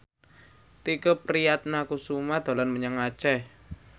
Tike Priatnakusuma dolan menyang Aceh